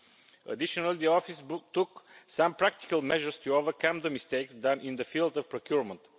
In addition, the office took some practical measures to overcome the mistakes made in the field of procurement.